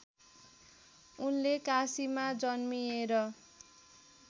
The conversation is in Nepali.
उनले काशीमा जन्मिएर